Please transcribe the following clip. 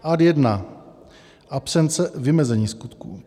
Ad 1 - absence vymezení skutku.